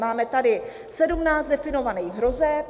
Máme tady sedmnáct definovaných hrozeb...